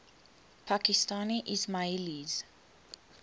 pakistani ismailis